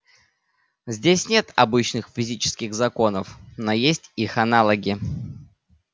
здесь нет обычных физических законов но есть их аналоги